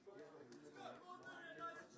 Sizdən başqa başqa heç bir oyunçu yoxdur.